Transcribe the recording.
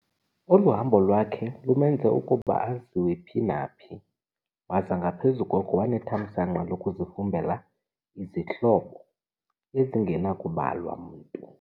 Olu hambo lwakhe lumenze ukuba aziwe phi na phi, waza ngaphezu koko wanethamsanqa lokuzifumbela izihlobo ezingenakubalwa mntu.